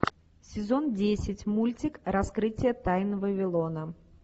сезон десять мультик раскрытие тайн вавилона